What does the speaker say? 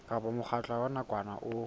kapa mokgatlo wa nakwana o